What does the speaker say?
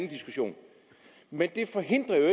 diskussion men det forhindrer jo